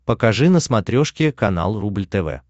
покажи на смотрешке канал рубль тв